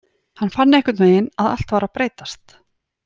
Hann fann einhvernvegin að allt var að breytast.